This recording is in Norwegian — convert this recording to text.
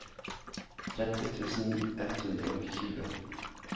tretti tusen ett hundre og tjue